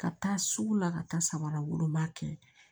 Ka taa sugu la ka taa samaraw don ma kɛ